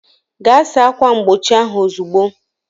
Gaa saa ákwà mgbochi ahụ ozugbo!